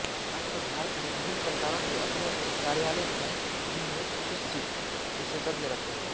आजकल भारत में विभिन्न सरकारों के अपने अपने कार्यालय हैं जिनमें सुशिक्षित विशेषज्ञ रहते हैं